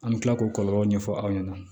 An bɛ tila k'o kɔlɔlɔ ɲɛfɔ aw ɲɛna